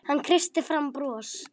Hann kreisti fram bros.